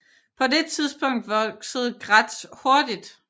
På det tidspunkt voksede Graz hurtigt